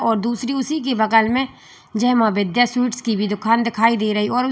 और दूसरी उसी के बगल में जय मां विद्या स्वीट की दुकान दिखाई दे रही और--